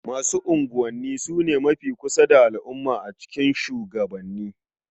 Masu unguwanni su ne mafi kusa da al'umma a cikin shugabanni.